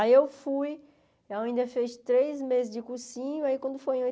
Aí eu fui, eu ainda fiz três meses de cursinho, aí quando foi em